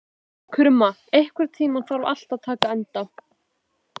Krumma, einhvern tímann þarf allt að taka enda.